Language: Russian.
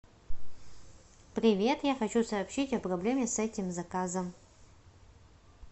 привет я хочу сообщить о проблеме с этим заказом